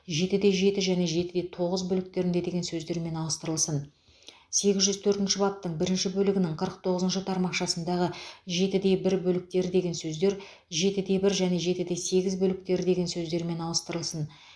жетіде жеті және жетіде тоғыз бөліктерінде деген сөздермен ауыстырылсын сегіз жүз төртінші баптың бірінші бөлігінің қырық тоғызыншы тармақшасындағы жетіде бір бөліктері деген сөздер жетіде бір және жетіде сегіз бөліктері деген сөздермен ауыстырылсын